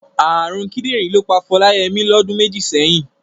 Ààrùn kídìrín ló pa Fọláyẹmí lọdún méjì sẹ́yìn.